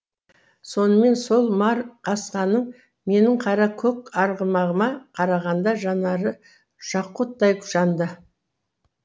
сонымен сол мар қасқаңның менің қара көк арғымағыма қарағанда жанары жақұттай жанды